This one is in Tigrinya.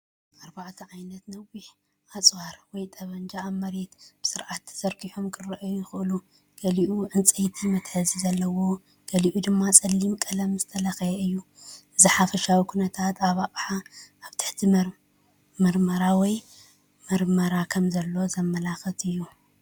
ኣርባዕተ ዓይነት ነዊሕ ኣጽዋር (ጠበንጃ) ኣብ መሬት ብስርዓት ተዘርጊሖም ክረኣዩ ይኽእሉ። ገሊኡ ዕንጨይቲ መትሓዚ ዘለዎ፣ ገሊኡ ድማ ጸሊም ቀለም ዝተለኽየ እዩ። እቲ ሓፈሻዊ ኩነታት እቲ ኣቕሓ ኣብ ትሕቲ መርመራ ወይ መርመራ ከምዘሎ ዘመልክት እዩ።